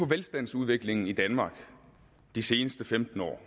velstandsudviklingen i danmark de seneste femten år